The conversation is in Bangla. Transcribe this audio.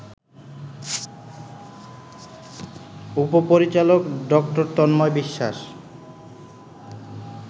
উপ-পরিচালক ডা.তন্ময় বিশ্বাস